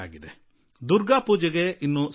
ದುರ್ಗಾಪೂಜೆಗೆ ಇನ್ನೂ ಸಮಯವಿದೆ